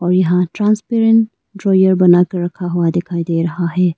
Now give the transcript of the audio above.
यहां transparent drawer बना कर रखा हुआ दिखाई दे रहा है।